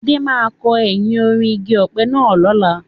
Adé máa kọ ẹyìn orí igi ọ̀pẹ náà lọ́la.